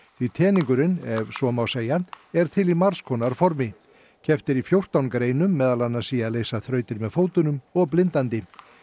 því teningurinn ef svo má segja er til í margs konar formi keppt er í fjórtán greinum meðal annars í að leysa þrautir með fótunum og blindandi